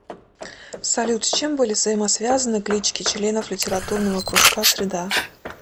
салют с чем были взаимосвязаны клички членов литературного кружка среда